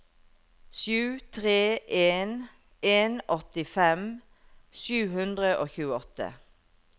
sju tre en en åttifem sju hundre og tjueåtte